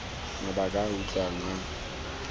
mabaka a a utlwalang a